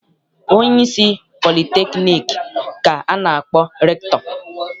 Onyeisi politekniik ka a na-akpọ rektọ.